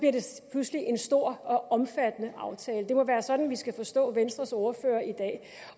pludselig en stor og omfattende aftale det må være sådan vi skal forstå venstres ordfører i dag